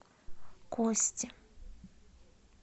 кости